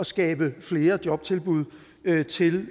skabe flere jobtilbud til